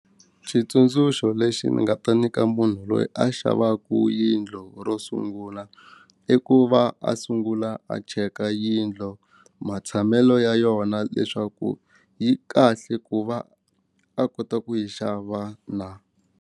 Xitsundzuxo lexi ni nga ta nyika munhu loyi a xavaka yindlo ro sungula i ku va a sungula a cheka yindlo matshamelo ya yona leswaku yi kahle ku va a kota ku yi xava na.